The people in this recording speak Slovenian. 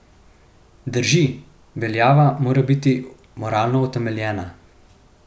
Drži, veljava mora biti moralno utemeljena.